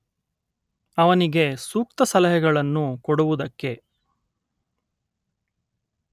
ಅವನಿಗೆ ಸೂಕ್ತ ಸಲಹೆಗಳನ್ನು ಕೊಡುವುದಕ್ಕೆ